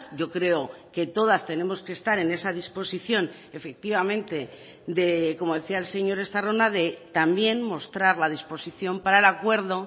yo creo que todas tenemos que estar en esa disposición efectivamente como decía el señor estarrona de también mostrar la disposición para el acuerdo